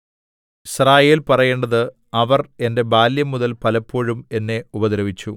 യിസ്രായേൽ പറയേണ്ടത് അവർ എന്റെ ബാല്യംമുതൽ പലപ്പോഴും എന്നെ ഉപദ്രവിച്ചു